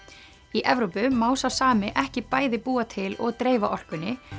í Evrópu má sá sami ekki bæði búa til og dreifa orkunni